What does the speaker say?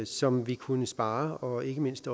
som vi kunne spare og ikke mindst